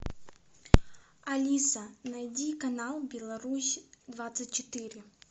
алиса найди канал беларусь двадцать четыре